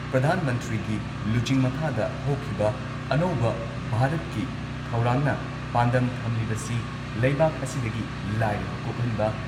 ꯄ꯭ꯔꯙꯥꯟ ꯃꯟꯇ꯭ꯔꯤꯒꯤ ꯂꯨꯆꯤꯡ ꯃꯈꯥꯗ ꯍꯧꯈꯤꯕ ꯑꯅꯧꯕ ꯚꯥꯔꯠꯀꯤ ꯊꯧꯔꯥꯡꯅ ꯄꯥꯟꯗꯝ ꯊꯝꯂꯤꯕꯁꯤ ꯂꯩꯕꯥꯛ ꯑꯁꯤꯗꯒꯤ ꯂꯥꯏꯔꯕ ꯀꯣꯛꯍꯟꯕ